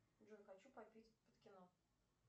джой хочу попить под кино